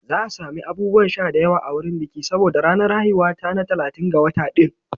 Za a sami abubuwan sha da yawa a wurin biki saboda ranar haihuwar ta na talatin ga wata ɗin.